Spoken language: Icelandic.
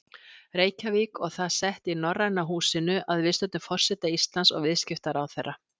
Reykjavík og það sett í Norræna húsinu að viðstöddum forseta Íslands og viðskiptaráðherra.